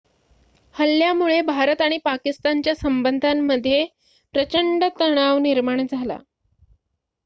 हल्ल्यामुळे भारत आणि पाकिस्तानच्या संबंधांमध्ये प्रचंड तणाव निर्माण झाला